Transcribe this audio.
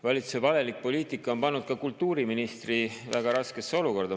Valitsuse valelik poliitika on pannud ka kultuuriministri väga raskesse olukorda.